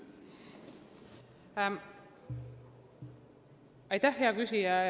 Aitäh, hea küsija!